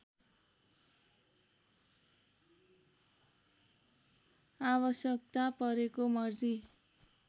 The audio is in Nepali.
आवश्यकता परेको मर्जी